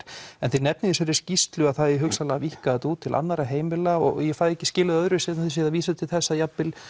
en þið nefnið í þessari skýrslu að það eigi hugsanlega að víkka þetta út til annarra heimila og ég fæ ekki skilið það öðruvísi en þið séuð að vísa til þess að jafn vel